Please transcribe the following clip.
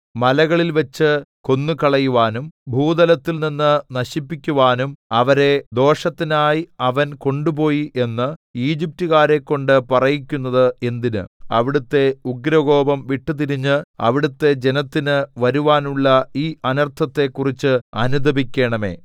മലകളിൽവച്ച് കൊന്നുകളയുവാനും ഭൂതലത്തിൽനിന്ന് നശിപ്പിക്കുവാനും അവരെ ദോഷത്തിനായി അവൻ കൊണ്ടുപോയി എന്ന് ഈജിപ്റ്റികാരെക്കൊണ്ട് പറയിക്കുന്നത് എന്തിന് അവിടുത്തെ ഉഗ്രകോപം വിട്ടുതിരിഞ്ഞ് അവിടുത്തെ ജനത്തിന് വരുവാനുള്ള ഈ അനർത്ഥത്തെക്കുറിച്ച് അനുതപിക്കണമേ